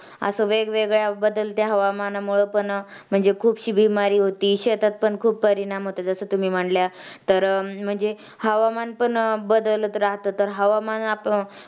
असं वेगवेगळ्या बदलत्या हवामानामुळं पण म्हणजे खूप शिवीमारी होती. शेतात पण खूप परिणाम होतात जसं तुम्ही म्हणल्या, तर म्हणजे हवामान पण बदलत राहतं तर हवामान